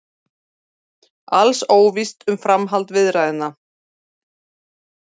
Alls óvíst um framhald viðræðna